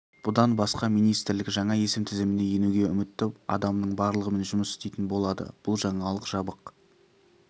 бұдан басқа министрлік жаңа есім тізіміне енуге үмітті адамның барлығымен жұмыс істейтін болады бұл жаңалық жабық